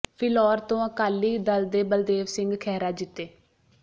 ਫਿਲੌਰ ਤੋਂ ਅਕਾਲੀ ਦਲ ਦੇ ਬਲਦੇਵ ਸਿੰਘ ਖਹਿਰਾ ਜਿੱਤੇ